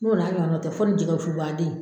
N'o na ɲɔgɔna tɛ fɔ nin jɛgɛ fu baden